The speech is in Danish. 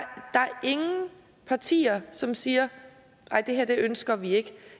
ingen partier som siger nej det her ønsker vi ikke